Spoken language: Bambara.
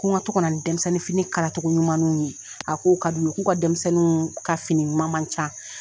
Ko ŋa to kana ni dɛmisɛnninfini kalatogo ɲumannuw ye, a k'o kad'u ye. K'u ka denmisɛnnuunw ka fini ɲuman ma can.